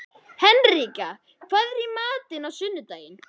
Henrika, hvað er í matinn á sunnudaginn?